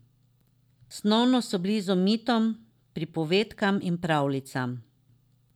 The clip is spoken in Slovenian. Snovno so blizu mitom, pripovedkam in pravljicam.